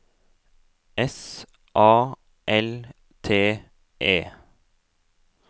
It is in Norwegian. S A L T E